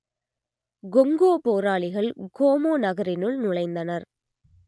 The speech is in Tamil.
கொங்கோ போராளிகள் கோமோ நகரினுள் நுழைந்தனர்